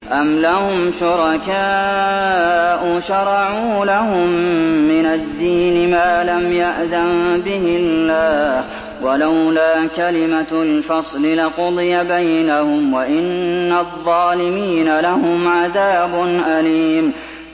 أَمْ لَهُمْ شُرَكَاءُ شَرَعُوا لَهُم مِّنَ الدِّينِ مَا لَمْ يَأْذَن بِهِ اللَّهُ ۚ وَلَوْلَا كَلِمَةُ الْفَصْلِ لَقُضِيَ بَيْنَهُمْ ۗ وَإِنَّ الظَّالِمِينَ لَهُمْ عَذَابٌ أَلِيمٌ